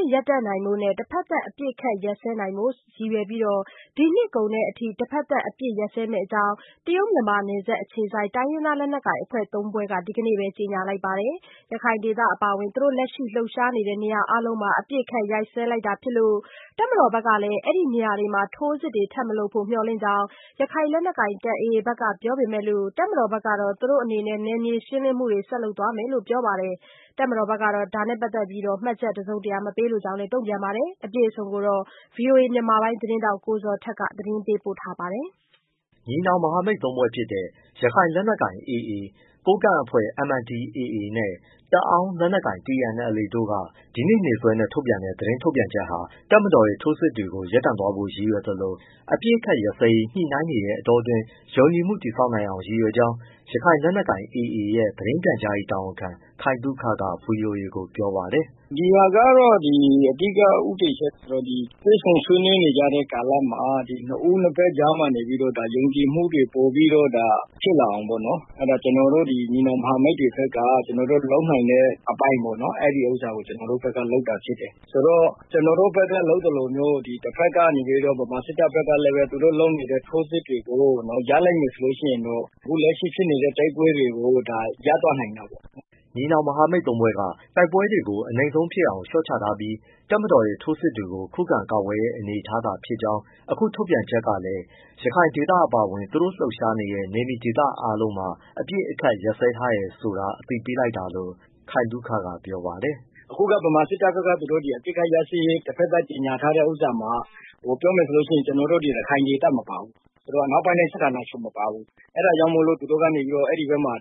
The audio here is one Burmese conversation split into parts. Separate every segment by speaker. Speaker 1: စ်ရပ်တန့်နိုင်ဖို့နဲ့ တဘက်သတ် အပစ်အခတ်ရပ်စဲနိုင်ဖို့ ရည်ရွယ်ပြီး ဒီနှစ်ကုန်အထိ ထိုးစစ်ဆင် တိုက်ခိုက်မှုတွေ ရပ်စဲမယ့်အကြောင်း တရုတ်-မြန်မာနယ်စပ် အခြေစိုက် တိုင်းရင်းသား လက်နက်ကိုင် အဖွဲ့ ၃ ဖွဲ့က ဒီနေ့ပဲ ကြေညာလိုက်ပါတယ်။ ရခိုင်ဒေသအပါအဝင် သူတို့ လက်ရှိ လှုပ်ရှားနေတဲ့ နေရာ အားလုံးမှာ အပစ်အခတ်ရပ်စဲလိုက်တာဖြစ်လို့ တပ်မတော်ဘက်ကလည်း ဒီနေရာတွေမှာ ထိုးစစ်တွေထပ်မလုပ်ဖို့ မျှော်လင့်ကြောင်း ရခိုင်လက်နက်ကိုင် AA ဘက်ကပြောလိုက်ပေမဲ့ တပ်မတော်ဘက်ကတော့ သူတို့အနေနဲ့ နယ်မြေရှင်းလင်းမှုတွေကို ဆက်လုပ်သွားမယ်လို့ ပြောပါတယ်။ တပ်မတော်ဘက်ကတော့ ဒါနဲ့ပတ်သက်လို့ မှတ်ချက် တစုံတရာမပေးလိုကြောင်း တုံ့ပြန်ခဲ့ပါတယ်။ အပြည့်အစုံကို ဗွီအိုအေ မြန်မာပိုင်းသတင်းထောက် ကိုဇော်ထက် ပေးပို့ထားပါတယ်
Speaker 2: ။ ညီနောင်မဟာမိတ် သုံးဖွဲ့ ဖြစ်တဲ့ ရခိုင်လက်နက်ကိုင် AA ၊ ကိုးကန့်အဖွဲ့ MNDAA နဲ့ တအောင်းလက်နက်ကိုင် TNLA တို့က ဒီနေ့နေ့စွဲနဲ့ ထုတ်ပြန်တဲ့ သတင်းထုတ်ပြန်ချက်ဟာ တပ်မတော်ရဲ့ ထိုးစစ်တွေကို ရပ်တန့်ဖို့ရည်ရွယ်သလို၊ အပစ်အခတ် ရပ်စဲရေး ညှိနှိုင်းနေတဲ့ အတောအတွင်း ယုံကြည်မှု တည်ဆောက်နိုင်အောင် ရည်ရွယ်ကြောင်း ရခိုင်လက်နက်ကိုင် AA ရဲ့ သတင်းပြန်ကြားရေး တာဝန်ခံ ခိုင်သုခက ဗွီအိုအေကို ပြောပါတယ်။
Speaker 3: “ဒီဟာကတော့ အဓိကဦးတည်ချက်ကတော့ တွေ့ဆုံဆွေနွေးနေကြတဲ့ ကာလမှာ နှစ်ဦး နှစ်ဘက်ကြားမှာနေပြီးတော့ ယုံကြည်မှုတွေ ပိုပြီးတော့ဒါ ဖြစ်လာအောင်ပေါ့နော်။ ကျနော်တို့ ညီနောင် မဟာမိတ်တွေဘက်က ကျနော်တို့ လုပ်နိုင်တဲ့ အပိုင်းပေါ့နော် အဲဒါကိုကျနော်တို့ဘက်က လုပ်တာဖြစ်တယ်။ ဆိုတော့ ကျနော်တို့ဘက်က လုပ်သလိုမျိုး တဘက်ကနေပြီး ဗမာစစ်တပ်ဘက်ကလည်းပဲ သူတို့လုပ်နေတဲ့ ထိုးစစ်တွေကို ရပ်လိုက်မယ်ဆိုရင်တော့ အခုလက်ရှိ ဖြစ်နေတဲ့ တိုက်ပွဲတွေကို ရပ်
Speaker 2: သွားနိုင်တာပေါ့။” ညီနောင်မဟာမိတ်သုံးဖွဲ့က တိုက်ပွဲတွေကို အနိမ့်ဆုံးဖြစ်အောင် လျှော့ချထားပြီး တပ်မတော်ရဲ့ ထိုးစစ်တွေကို ခုခံကာကွယ်တဲ့ အနေအထားဖြစ်ကြောင်း၊ အခု ထုတ်ပြန်ချက်ကလည်း ရခိုင်ဒေသအပါအဝင် သူတို့လှုပ်ရှားနေတဲ့ နေမြေဒေသအားလုံးမှာ အပစ်အခတ်ရပ်စဲထားတယ်ဆိုတာ အသိပေးလိုက်တာလို့ ခိုင်သုခက ပြောပါတယ်။ “အခ
Speaker 3: ုက ဗမာစစ်တပ်ဘက်က သူတို့ဒီအပစ်အခတ် ရပ်စဲရေး တဖက်သတ်ကြေညာထားတဲ့ ဥစ္စာမှာ ပြောရမယ်ဆိုရင် ကျနော်တို့ ရခိုင်ဒေသမပါဘူး။ အနောက်ပိုင်းတိုင်း စစ်ဌာနချုပ်မပါဘူး။ အဲဒါကြောင့်မို့သူတို့က အဲဒီမှာ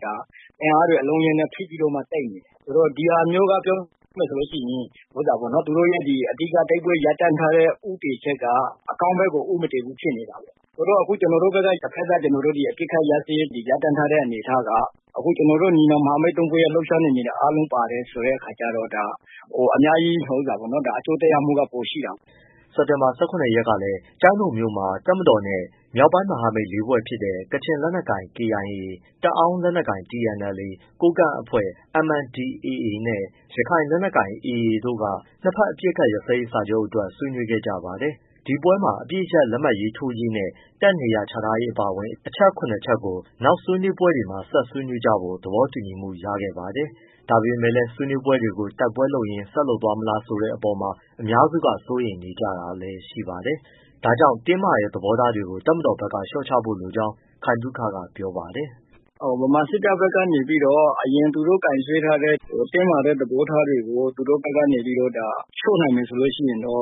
Speaker 3: အင်အားတွေ အလုံးအရင်းနဲ့ ဖိပြီးတော့မှ တိုက်နေတယ်။ ဒီဟာမျိုးက ပြောရမယ်ဆိုရင် သူတို့ရဲ့ အဓိက တိုက်ပွဲရပ်တန့်ထားတဲ့ ဦးတည်ချက်က အကောင်းဘက်ကို ဦးမတည်ဘူး ဖြစ်နေတာပါ့။ အခုကျနော်တို့ဘက်က တဖက်သတ် အပစ်အခတ်ရပ်စဲထားတဲ့ အနေအထားက အခုကျနော်တို့ ညီနောင်မဟာမိတ် သုံးဖွဲ့ရဲ့ လှုပ်ရှားနယ်မြေတွေ အားလုံးပါတယ်ဆိုတဲ့ အခါကျတော့ အများကြီး အကျိုးသက်ရောက်မ
Speaker 2: ှုက ပိုရှိတာပေါ့” စက်တင်လာ ၁၇ရက်ကလည်း ကျိုင်းတုံမြို့မှာ တပ်မတော်နဲ့ မြောက်ပိုင်း မဟာမိတ်လေးဖွဲ့ဖြစ်တဲ့ ကချင်လက်နက်ကိုင် KIA, တအောင်းလက်နက်ကိုင် TNLA, ကိုးကန့်အဖွဲ့ MNDAA နဲ့ ရခိုင်လက်နက်ကိုင် AA တို့ နှစ်ဘက်အပစ်အခတ်ရပ်စဲရေးစာချုပ်အတွက် ဆွေးနွေးခဲ့ကြပါတယ်။ ဒီပွဲမှာ အပစ်ရပ် လက်မှတ်ထိုးရေးနဲ့ တပ်နေရာချထားရေး အပါအဝင် အချက် ၇ခုကို နောက်ဆွေးနွေးပွဲတွေမှာ ဆက်ဆွေးနွေးကြဖို့ သဘောတူညီမှုရခဲ့ပါတယ်။ ဒါပေမဲ့လည်း ဆွေးနွေးပွဲတွေကို တိုက်ပွဲတွေလုပ်ရင်း ဆက်သွားမလားဆိုတဲ့အပေါ်မှာ အများစုက စိုးရိမ်နေကြတာလည်း ရှိပါတယ်။ ဒါကြောင့် တင်းမာတဲ့ သဘောထားတွေကို တပ်မတော်ဘက်က လျှော့ချဖို့လိုကြောင်း ခိုင်သုခကပြောပါတယ်။
Speaker 3: “ဗမာစစ်တပ်ဘက်ကနေပြီးတော့ အရင်သူတို့ကိုင်စွဲထားတဲ့ တင်းမာတဲ့ သဘောထားတွေကို လျှော့နိုင်မယ်ဆိုရင် ညှိနှို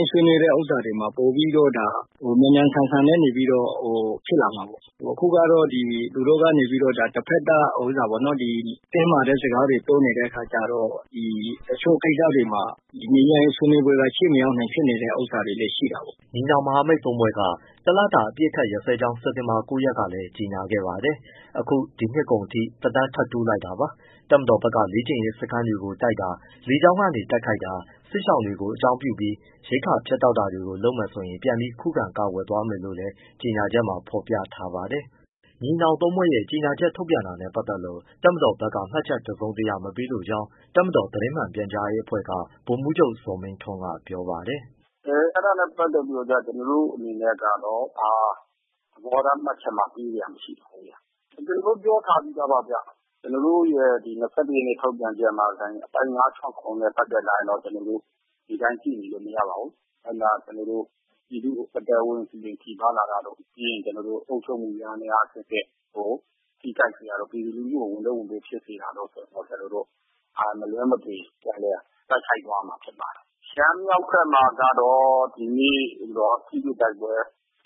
Speaker 3: င်းဆွေးနွေးတဲ့ ဥစ္စာတွေမှာ ပိုပြီး မြန်မြန်ဆန်ဆန် ဖြစ်လာမှာပေါ့။ အခုက သူတို့ကနေပြီးတော့ တဖက်သတ် တင်းမာတဲ့ စကားတွေ ပြောနေတဲ့အခါကျတော့ တချို့ကိစ္စတွေမှာ ငြိမ
Speaker 2: ်းချမ်းရေး ဆွေးနွေးပွဲက ရှေ့မရောက်နိုင်တဲ့ ဥစ္စာတွေလည်း ရှိတာပေါ့။” ညီနောင်မဟာမိတ်သုံးဖွဲ့က ၁လတာအပစ်ရပ်စဲကြောင်း စက်တင်ဘာ ၉ ရက်ကလည်း ကြေညာခဲ့ပါတယ်။ အခု ဒီနှစ်ကုန်အထိ သက်တမ်းထပ်တိုး လိုက်တာပါ။ တပ်မတော်ဘက်က လေ့ကျင့်ရေးစခန်းတွေကိုတိုက်တာ၊ လေကြောင်းကနေတိုက်ခိုက်တာ၊ စစ်ရှောင်တွေကို အကြောင်းပြပြီး ရိက္ခာ ဖြတ်တောက်တာတွေကို လုပ်မယ်ဆိုရင် ပြန်ပြီးခုခံကာကွယ် သွားမယ်လို့လည်း ကြေညာချက်မှာ ဖော်ပြထားပါတယ်။ ညီနောင်သုံးဖွဲ့ရဲ့ ကြေညာချက်ထုတ်ပြန်တာနဲ့ပတ်သက်လို့ တပ်မတော်က မှတ်ချက်တစုံတရာမပေးလိုကြောင်း တပ်မတော်သတင်းမှန် ပြန်ကြားရေးအဖွဲ့ က ဗိုလ်မှူးချုပ်ဇော်မင်းထွန်းက ပြောပါတယ်။
Speaker 4: “အဲဒါနဲ့ပတ်သက်လို့ ကျနော်တို့အနေနဲ့က ဘာသဘောထားမှတ်ချက်မှ ပေးစရာမရှိပါဘူး ကျနော်တို့ပြောထားပြီးသားပါဗျ ကျနော်တို့ရဲ့ ဒီ၂၁ရက်နေ့ ထုတ်ပြန်ချက်မှာ အပိုဒ် ၅၊ ၆၊ ၇ နဲ့ပတ်သက်လာရင် ကျနော်တို့ ဒီအတိုင်း ကြည့်နေလို့ မရပါဘူး။ ပြည်သူ့အသက်အိုးအိမ် ထိပါးလာတာတို့ ပြီးရင် အုပ်ချုပ်မှု ယန္တယားအဆင့်ဆင့် ထိခိုက်တာ၊ ပြည်သူလူထုကို ဝန်ထုပ်ဝန်ပိုးဖြစ်တာ ကျနော်တို့ မလွှဲမသွေ ပြန်လည်တိုက်ခိုက်သွားရမှာ ဖြစ်ပါတယ်။ ရှမ်းမြောက်ဘက်မှာကတော့ ဒီနေ့ ထိတွေ့တိုက်ပွဲ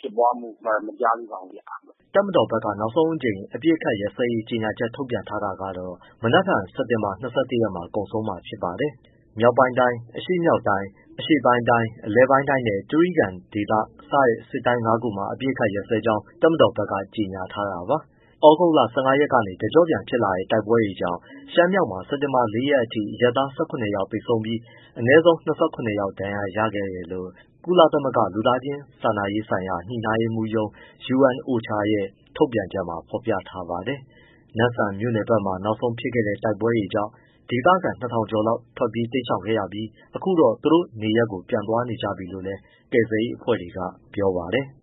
Speaker 4: ဖြစ်တာ မကြားသေးပါဘူးဗျ။
Speaker 2: ” တပ်မတော်ဘက်က နောက်ဆုံးအကြိမ် အပစ်ရပ်စဲရေးကြေညာချက် ထုတ်ပြန်ထားတာကတော့ မနက်ဖြန် စက်တင်ဘာ ၂၁ရက်မှာ ကုန်ဆုံးမှာ ဖြစ်ပါတယ်။ မြောက်ပိုင်းတိုင်း၊ အရှေ့မြောက်တိုင်း၊ အရှေ့ပိုင်းတိုင်း၊ အလယ်ပိုင်းတိုင်းနဲ့ တြိဂံဒေသ စတဲ့ စစ်တိုင်းငါးခုမှာ အပစ်ရပ်စဲကြောင်း တပ်မတော်ဘက်က ကြေညာထားတာပါ။ သြဂုတ်လ ၁၅ရက်ကနေ တကြော့ပြန်ဖြစ်လာတဲ့ တိုက်ပွဲတွေကြောင့် ရှမ်းမြောက်မှာ စက်တင်ဘာ ၄ရက်ထိ အရပ်သား ၁၇ယောက်သေဆုံးပြီး၊ အနည်းဆုံး လူ၂၇ယောက်လောက် ဒဏ်ရာရခဲ့တယ်လို့ ကုလသမဂ္ဂ လူသားချင်းစာနာရေးဆိုင်ရာ ညှိနှိုင်းရေးမှူးရုံး UNOCHA ရဲ့ ထုတ်ပြန်ချက်မှာ ဖော်ပြ ထားပါတယ်။ နမ့်ဆန်မြို့နယ်ဘက်မှာ နောက်ဆုံးဖြစ်ခဲ့တဲ့ တိုက်ပွဲတွေကြောင့် ဒေသခံ ၂၀၀၀ ကျော်လောက် တိမ်းရှောင်ခဲ့ရပြီး အခုတော့ သူတို့နေရပ်ကို ပြန်သွားနေပြီလို့ ကယ်ဆယ်ရေးအဖွဲ့တွေက ပြောပါတယ်။